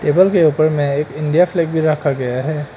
Table के ऊपर में एक इंडिया फ्लैग भी रखा गया है।